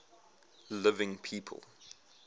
living people